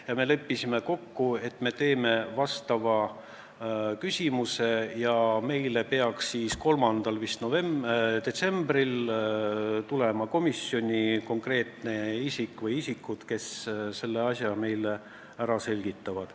Ja me leppisime kokku, et me koostame sellel teemal küsimuse ja 3. detsembril peaks komisjoni tulema isik või isikud, kes selle asja meile ära selgitavad.